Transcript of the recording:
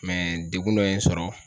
dekun dɔ ye n sɔrɔ.